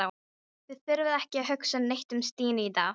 Þið þurfið ekki að hugsa neitt um Stínu í dag.